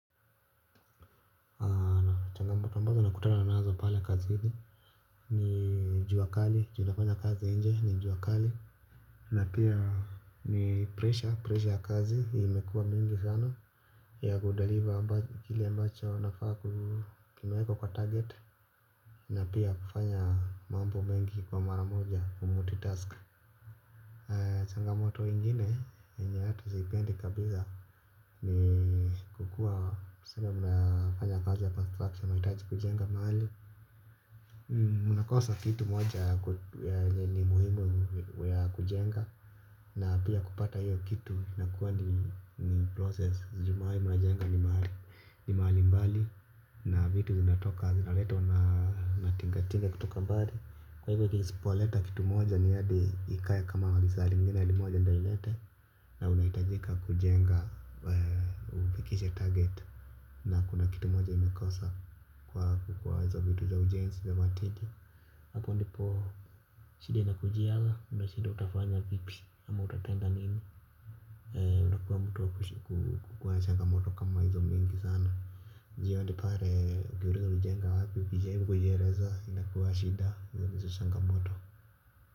Mbazo nakutana nazo pala kazini. Nijua kali, junafanya kazi inje, nijua kali. Na pia ni pressure, pressure ya kazi, imekua mingi sana. Ya kudeliver kili ambacho nafaa kumaweko kwa target. Na pia kufanya mambo mengi kwa mara moja, kumulti task. Ya changamoto ingine, yenye hata zipendi kabiza. Ni kukua, samba mbazo nafanya kazi ya construction, maitaji kujenga maali. Munakosa kitu moja ni muhimu ya kujenga. Na pia kupata hiyo kitu inakuwa ni process Jumai munajenga ni mahali mbali. Na vitu zinatoka zinaletwa na tingatinga kutoka mbali. Kwa hivyo kisipo leta kitu moja ni yadi. Ikae kama liisari lingine limoja moja ndo ilete. Na unaitajika kujenga ufikishe target. Na kuna kitu moja imekosa kwa kukua zo vitu za ujensi hapo ndipo shida inakujiaga unashida utafanya vipi ama utatenda nini unakuwa mutu wa kukua na changa moto kama hizo mingi sana njiyo ndipare ukiurizwa ulijenga wapi ukijaibu kujiereza inakuwa shida nchanga moto.